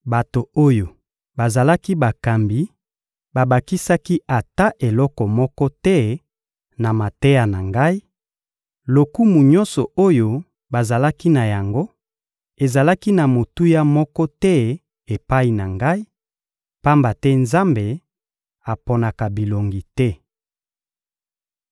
Bato oyo bazalaki bakambi babakisaki ata eloko moko te na mateya na ngai; lokumu nyonso oyo bazalaki na yango ezalaki na motuya moko te epai na ngai, pamba te Nzambe aponaka bilongi te.